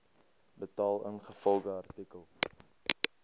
betaal ingevolge artikel